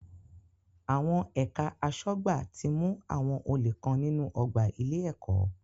Àwọn ẹ̀ka aṣọ́gbà ti mú àwọn olè kan nínú ọgbà ilé-ẹ̀kọ́.